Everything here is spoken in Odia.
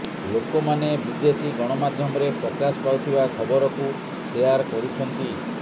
ଲୋକମାନେ ବିଦେଶୀ ଗଣମାଧ୍ୟମରେ ପ୍ରକାଶ ପାଉଥିବା ଖବରକୁ ଶେୟାର କରୁଛନ୍ତି